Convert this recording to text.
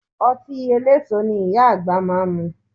Ọtí eléso ni Ìyá àgbà máa ń mu